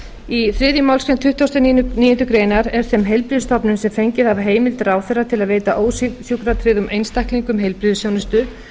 í þriðju málsgrein tuttugustu og níundu grein er þeim heilbrigðisstofnunum sem fengið hafa heimild ráðherra til að veita ósjúkratryggðum einstaklingum heilbrigðisþjónustu